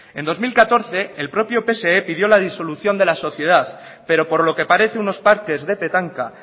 en dos mil catorce el propio pse pidió la disolución de la sociedad pero por lo que parece unos parques de petanca